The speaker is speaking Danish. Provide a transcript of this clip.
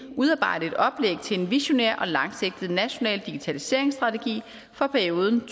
udarbejde et oplæg til en visionær og langsigtet national digitaliseringsstrategi for perioden